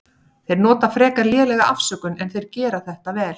Þeir nota frekar lélega afsökun en þeir gera þetta vel.